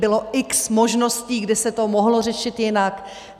Bylo x možností, kde se to mohlo řešit jinak.